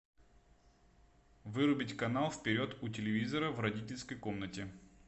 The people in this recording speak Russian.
вырубить канал вперед у телевизора в родительской комнате